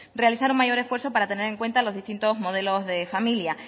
realizar un mayor esfuerzo para tener en cuenta los distintos modelos de familia